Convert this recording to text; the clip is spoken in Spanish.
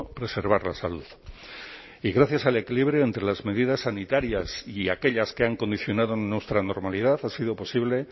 preservar la salud y gracias al equilibrio entre las medidas sanitarias y aquellas que han condicionado nuestra normalidad ha sido posible